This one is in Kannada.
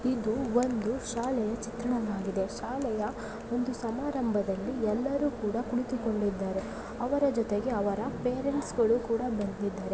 ಇದು ಒಂದು ಶಾಲೆಯ ಚಿತ್ರಣವಾಗಿದೆ. ಶಾಲೆಯ ಒಂದು ಸಮಾರಂಭದಲ್ಲಿ ಎಲ್ಲಾರು ಕೂಡ ಕುಳಿತುಕೊಂಡಿದ್ದಾರೆ. ಅವರ ಜೊತೆಗೆ ಅವರ ಪೇರೆಂಟ್ಸ್ ಗಳು ಕೂಡ ಬಂದಿದ್ದಾರೆ.